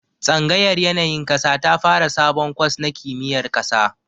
Tsangayar yanayin ƙasa ta fara sabon kwas na kimiyar ƙasa